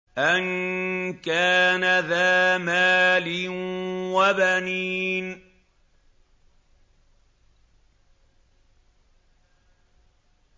أَن كَانَ ذَا مَالٍ وَبَنِينَ